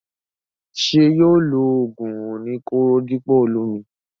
Ṣé yóò lo ògùn oní kóró dípò olómi?